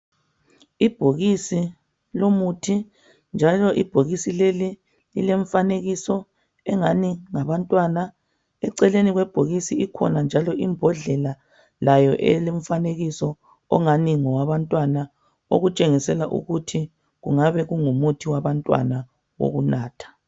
Ibhokisi lomuthi njalo ibhokisi leli lilemfanekiso engani ngabantwana eceleni kwebhokisi ikhona njalo imbodlela layo elomfanekiso ongani ngowabantwana okutshengisela ukuthi kungabe kungumuthi wabantwana wokunatha.